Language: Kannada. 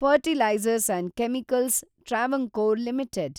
fertilizers and chemicals Travancore limited